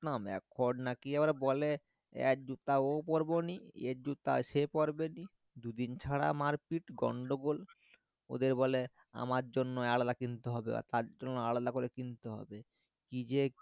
না এখন নাকি বলে এর জুতা ও পরবনি এর জুতা সে পড়বেনই দুদিন ছাড়া মারপিঠ গন্ডগোল ওদের বলে আমার জন্য আলাদা কিনতে হবে তার জন্য আলাদা করে কিনতে হবে কি যে